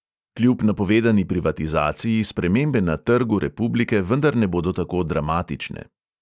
Kljub napovedani privatizaciji spremembe na trgu republike vendar ne bodo tako dramatične.